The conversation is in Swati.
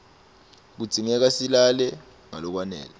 kudzingeka silale ngalokwanele